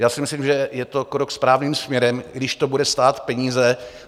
Já si myslím, že je to krok správným směrem, i když to bude stát peníze.